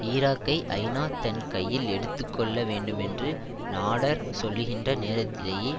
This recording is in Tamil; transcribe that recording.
ஈராக்கை ஐநா தன் கையில் எடுத்து கொள்ள வேண்டுமென்று நாடெர் சொல்லுகின்ற நேரத்திலேயே